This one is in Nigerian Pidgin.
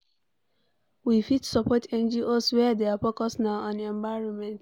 We fit support NGO's wey their focus na on environment